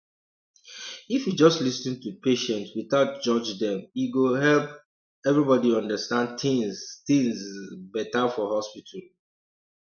if you just lis ten to patient without judge dem e go help um everybody understand things things um better for hospital um